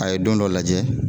A ye don dɔ lajɛ.